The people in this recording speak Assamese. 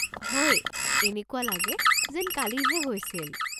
হয়, এনেকুৱা লাগে যেন কালিহে হৈছিল।